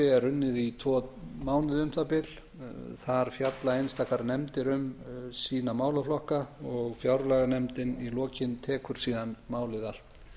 er unnið í tvo mánuði um það bil þar fjalla einstakar nefndir um sína málaflokka og fjárlaganefndin í lokin tekur síðan málið allt